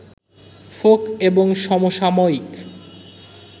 folk এবং সমসাময়িক